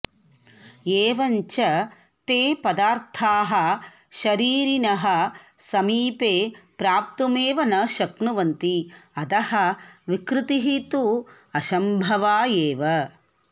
एवञ्च ते पदार्थाः शरीरिणः समीपे प्राप्तुमेव न शक्नुवन्ति अतः विकृतिः तु असम्भवा एव